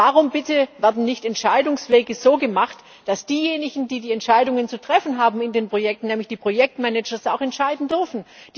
Warum bitte werden Entscheidungswege nicht so gemacht, dass diejenigen, die die Entscheidungen zu treffen haben in den Projekten nämlich die Projektmanager auch entscheiden dürfen?